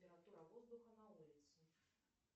температура воздуха на улице